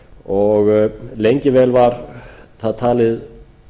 og lengi vel var það talið